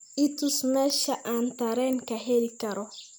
i tus meesha aan tareen ka heli karo